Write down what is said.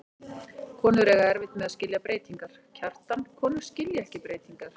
Konur eiga erfitt með að skilja breytingar, Kjartan, konur skilja ekki breytingar.